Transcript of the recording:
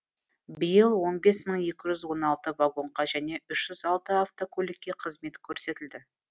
биыл он бес мың екі жүз он алты вагонға және үш жүз автокөлікке қызмет көрсетілді